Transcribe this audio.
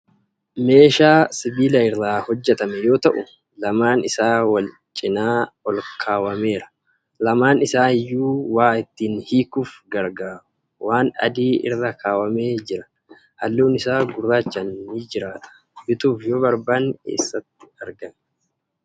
Meeshaa sibiila irraa hojjetame yoo ta'u, lamaan isaa Wal canaa olkaawwameera. Lamaan isaa iyyuu waa ittiin hiikuuf gargaaruu. Waan adii irra kaawwamee jira. Halluun isaa gurraachaan ni jraataa? Bituuf yoo barbaanne eessatti araganna?